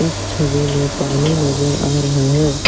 इस छवि में पानी नजर आ रहा है।